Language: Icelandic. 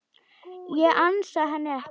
Ég ansa henni ekki.